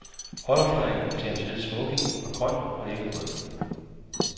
Butterflyen til hans hvide smoking var grøn og ikke rød.